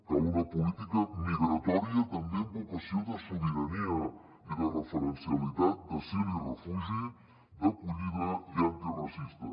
cal una política migratòria també amb vocació de sobirania i de referencialitat d’asil i refugi d’acollida i antiracista